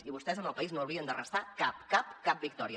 i vostès al país no li haurien de restar cap cap cap victòria